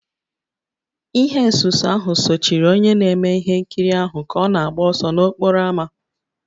Ihe nsuso ahụ sochiri onye na-eme ihe nkiri ahụ ka ọ na-agba ọsọ n'okporo ámá